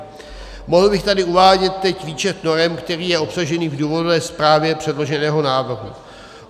Mohl bych tady uvádět teď výčet norem, který je obsažený v důvodové zprávě předloženého návrhu.